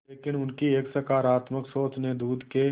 लेकिन उनकी एक सकरात्मक सोच ने दूध के